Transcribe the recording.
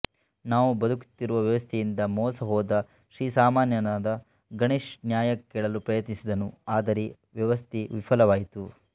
ನಾವು ಬದುಕುತ್ತಿರುವ ವ್ಯವಸ್ಥೆಯಿಂದ ಮೋಸ ಹೋದ ಶ್ರೀಸಾಮಾನ್ಯನಾದ ಗಣೇಶ್ ನ್ಯಾಯ ಕೇಳಲು ಪ್ರಯತ್ನಿಸಿದನು ಆದರೆ ವ್ಯವಸ್ಥೆ ವಿಫಲವಾಯಿತು